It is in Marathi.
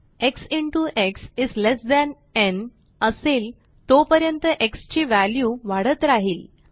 x into x is less than न् असेल तोपर्यंत एक्स ची व्हॅल्यू वाढत राहिल